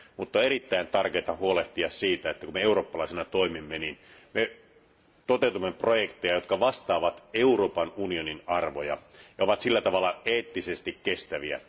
Mutta on erittäin tärkeää huolehtia siitä, että kun me eurooppalaisina toimimme, niin me toteutamme projekteja, jotka vastaavat Euroopan unionin arvoja ja ovat sillä tavalla eettisesti kestäviä.